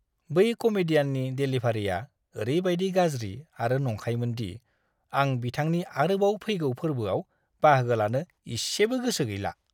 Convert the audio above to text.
बै कमेडियाननि डेलिभारिआ ओरैबायदि गाज्रि आरो नंखायमोन दि आं बिथांनि आरोबाव फैगौ फोर्बोआव बाहागो लानो इसेबो गोसो गैला!